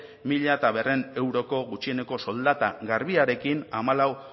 mila berrehun euroko gutxieneko soldata garbiarekin hamalau